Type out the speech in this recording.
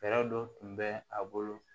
Fɛɛrɛ dɔ tun bɛ a bolo